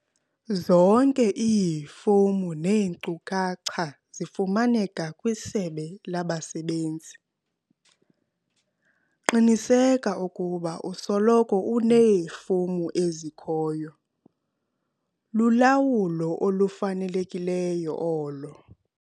Zonke iifomu neenkcukacha zifumaneka kwiSebe labaSebenzi. Qiniseka ukuba usoloko uneefomu ezikhoyo - lulawulo olufanelekileyo olo.